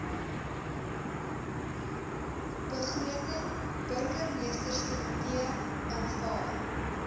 begroting burgemeesterskomitee aanvaar